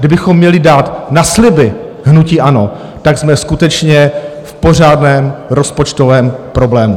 Kdybychom měli dát na sliby hnutí ANO, tak jsme skutečně v pořádném rozpočtovém problému.